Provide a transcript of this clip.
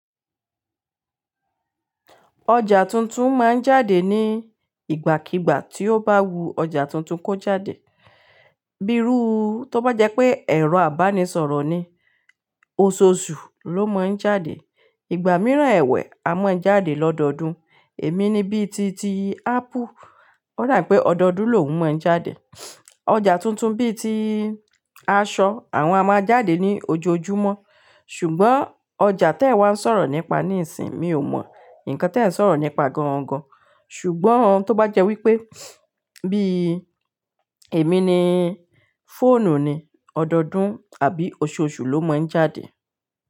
Ọjà tuntun máa ń jáde ní ìgbàkígbà tí ó bá wu ọjà tuntun kó jáde. Bí irú, tó bá jẹ́ pé ẹ̀rọ ìbánisọ̀rọ̀ ni, oṣooṣù ló ma ń jáde. Ìgbà mìíràn ẹ̀wẹ́ a máa ń jáde lọ́dọọdún, èmi ni bíi ti, ti ápù o da wípé ọdọọdún l'òhun ma ń jáde ọjà tuntun bíi ti aṣọ àwọn a máa jáde ní ojoojúmọ́. Ṣùgbọ́n ọjà t'ewa ń sọ̀rọ̀ nípa nísìín, mi ò mọ̀. Ǹkan tí ẹ ń sọ̀rọ̀ nípa gan-an gan-an. Ṣùgbọ́n tó bá jẹ́ wípé bíi èmi ni fóònù ni ọdọọdún àbí oṣooṣù ló máa ń jáde.